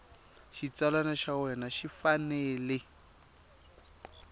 xitsalwana xa wena xi fanele